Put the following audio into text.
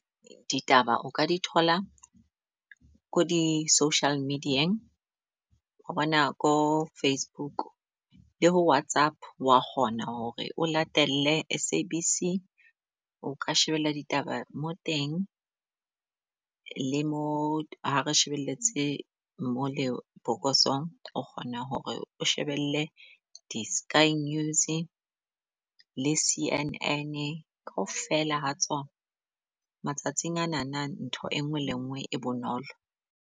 Ditaba o ka di thola ko di-social media-eng. Wa bona ko Facebook le ho Whatsapp wa kgona hore o latele S_A_B_C. O ka shebella ditaba mo teng le mo ha re shebeletse mo lebokosong, o kgona hore o shebelle di-Sky News le C_N_A kaofela ha tsona. Matsatsing anana ntho e nngwe le e nngwe e bonolo.